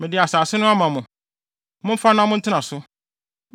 Mede asase no ama mo. Momfa na montena so.